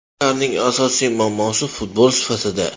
Ularning asosiy muammosi futbol sifatida.